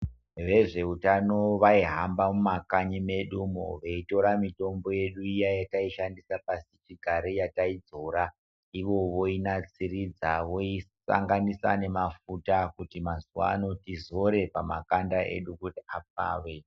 Vezveutano vaihamba mumakanyi medu umo veitora mitombo yedu iya yataishandisa pasichigare yataidzora ivo voinasiridza voisanganisa namafuta kuti mazuvaano tizore pamakanda edu apfave .